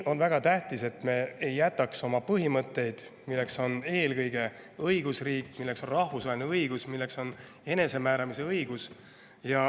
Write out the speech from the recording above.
On väga tähtis, et me ei jätaks oma põhimõtteid, milleks on eelkõige õigusriik, milleks on rahvusvaheline õigus, milleks on enesemääramise õigus.